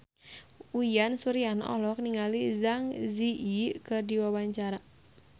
Uyan Suryana olohok ningali Zang Zi Yi keur diwawancara